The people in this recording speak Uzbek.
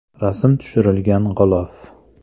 Rasm tushirilgan g‘ilof.